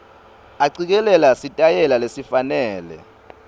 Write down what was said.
acikelela sitayela lesifanele